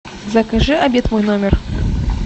закажи обед в мой номер